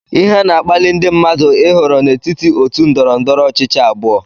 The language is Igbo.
Ihe na-akpali ndị mmadụ ịhọrọ n'etiti otu ndọrọ ndọrọ ọchịchị abụọ